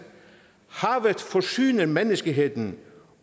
forsyner menneskeheden